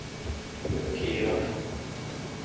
киров